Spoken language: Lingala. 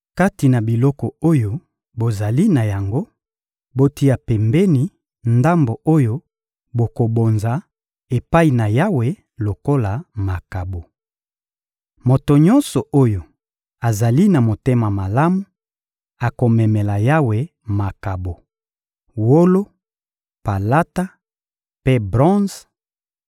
— Kati na biloko oyo bozali na yango, botia pembeni ndambo oyo bokobonza epai na Yawe lokola makabo. Moto nyonso oyo azali na motema malamu akomemela Yawe makabo: wolo, palata mpe bronze,